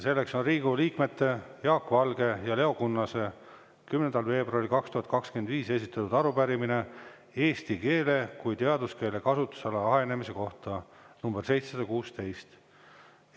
Selleks on Riigikogu liikmete Jaak Valge ja Leo Kunnase 10. veebruaril 2025 esitatud arupärimine eesti keele kui teaduskeele kasutusala ahenemise kohta, nr 716.